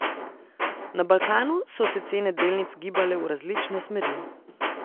Na Balkanu so se cene delnic gibale v različne smeri.